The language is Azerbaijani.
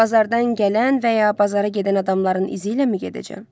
Bazardan gələn və ya bazara gedən adamların izi iləmi gedəcəm?